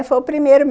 Foi o primeiro